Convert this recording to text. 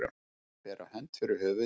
Að bera hönd fyrir höfuð sér